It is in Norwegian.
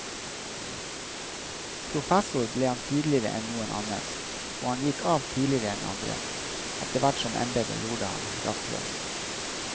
Professor ble han tidligere enn noen annen, og han gikk av tidligere enn andre, etter hvert som embedet gjorde ham rastløs.